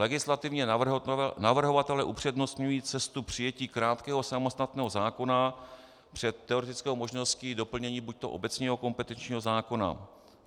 Legislativně navrhovatelé upřednostňují cestu přijetí krátkého samostatného zákona před teoretickou možností doplnění buďto obecního kompetenčního zákona.